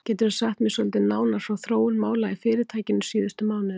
Geturðu sagt mér svolítið nánar frá þróun mála í fyrirtækinu síðustu mánuði?